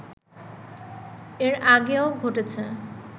এর আগেও ঘটেছে